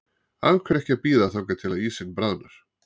Af hverju ekki að bíða þangað til að ísinn bráðnar?